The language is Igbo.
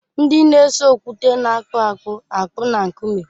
Ndị na-ese okwute na-akpụ akpụ akpụ na nkume.